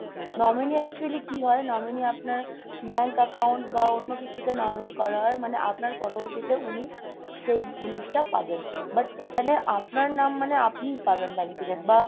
nominee actually কি হয়? nominee আপনার bank account বা অন্য কিছুতে nominee করা হয় মানে আপনার পরবর্তীতে উনি সেই জিনিসটা পাবেন। but এখানে আপনার নাম মানে আপনিই পাবেন benefitted বা